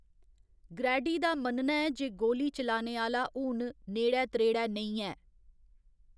Grady दा मन्नना ​​​​ऐ जे गोली चलाने आह्‌‌‌ला हून नेड़ै त्रेड़ै नेईं ऐ।